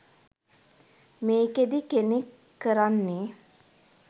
මේකෙදි කෙනෙක් කරන්නෙ